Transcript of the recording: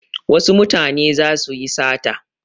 Wasu mutane za su yi sata.